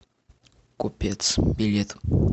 купец билет